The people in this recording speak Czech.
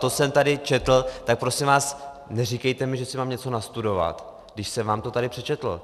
To jsem tady četl, tak prosím vás, neříkejte mi, že si mám něco nastudovat, když jsem vám to tady přečetl!